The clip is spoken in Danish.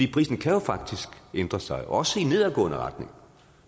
prisen kan jo faktisk ændre sig også i nedadgående retning